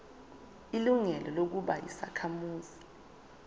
ilungelo lokuba yisakhamuzi